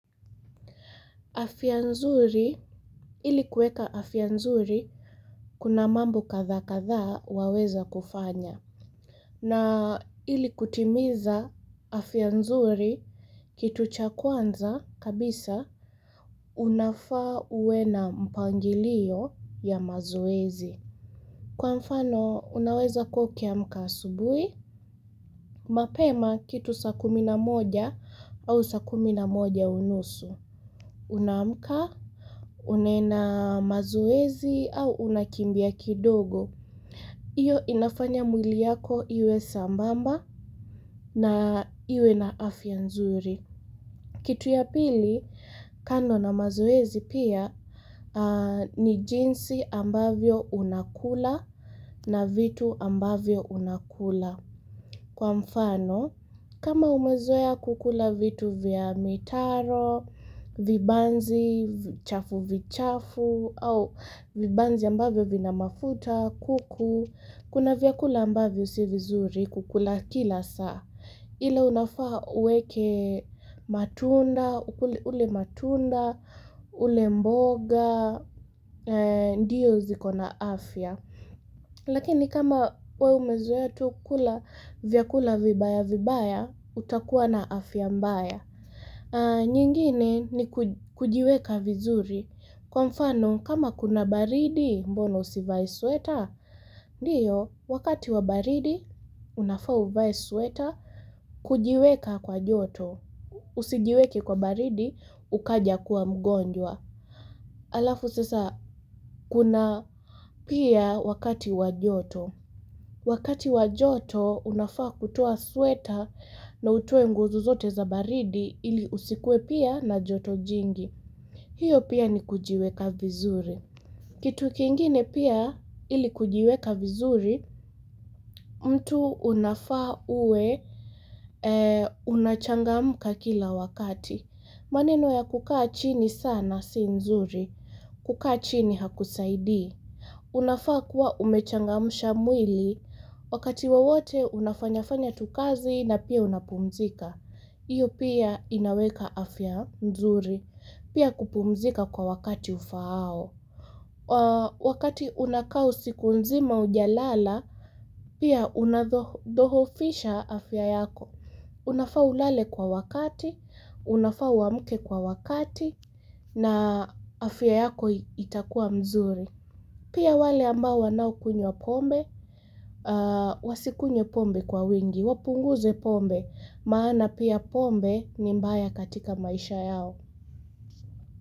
Afya nzuri, ili kuweka afya nzuri, kuna mambo kadhaa kadhaa waweza kufanya. Na ili kutimiza afya nzuri, kitu cha kwanza kabisa, unafaa uwe na mpangilio ya mazoezi. Kwa mfano, unaweza kuwa ukiamka asubuhi, mapema kitu sa kumi na moja au sa kumi na moja unusu. Unaamka, unaenda mazoezi au unakimbia kidogo. Hiyo inafanya mwili yako iwe sambamba na iwe na afya nzuri. Kitu ya pili, kando na mazoezi pia ni jinsi ambavyo unakula na vitu ambavyo unakula. Kwa mfano, kama umezoea kukula vitu vya mitaro, vibanzi, chafu vichafu, au vibanzi ambavyo vina mafuta, kuku, kuna vyakula ambavyo si vizuri kukula kila saa. Ila unafaa uweke matunda, ule matunda, ule mboga, ndiyo ziko na afya. Lakini kama we umezoea tu kula vyakula vibaya-vibaya, utakuwa na afya mbaya. Nyingine ni kujiweka vizuri. Kwa mfano, kama kuna baridi mbona usivae sweater, ndio, wakati wa baridi, unafaa uvae sweater, kujiweka kwa joto. Usijiweke kwa baridi, ukaja kuwa mgonjwa. Alafu sasa, kuna pia wakati wa joto. Wakati wa joto unafaa kutoa sweater na utoe nguo zozote za baridi ili usikue pia na joto jingi. Hiyo pia ni kujiweka vizuri. Kitu kingine pia ili kujiweka vizuri mtu unafaa uwe unachangamuka kila wakati. Maneno ya kukaa chini sana si nzuri. Kukaa chini hakusaidii. Unafaa kuwa umechangamusha mwili, wakati wowote unafanya fanya tu kazi na pia unapumzika. HIyo pia inaweka afya mzuri, pia kupumzika kwa wakati ufaao. Wakati unaka usiku nzima hujalala, pia unadhoofisha afya yako. Unafaa ulale kwa wakati, unafaa uamke kwa wakati, na afya yako itakua mzuri. Pia wale ambao wanaokunywa pombe, wasikunywe pombe kwa wingi, wapunguze pombe, maana pia pombe ni mbaya katika maisha yao.